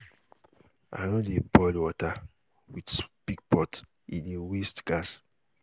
I no dey boil small water with big pot, e dey waste gas.